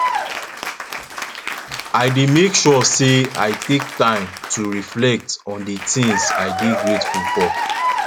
i dey make sure say i take time to reflect on di things i dey grateful for